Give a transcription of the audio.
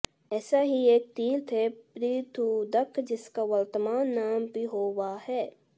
ऐसा ही एक तीर्थ है पृथूदक जिसका वर्तमान नाम पिहोवा है